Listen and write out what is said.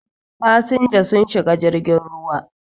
fasinja sun shiga jirgin ruwa